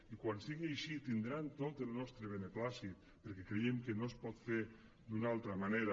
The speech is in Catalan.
i quan sigui així tindran tot el nostre beneplàcit perquè creiem que no es pot fer d’una altra manera